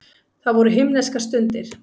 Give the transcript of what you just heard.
Það voru himneskar stundir.